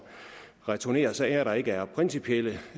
returnere sager der ikke er principielle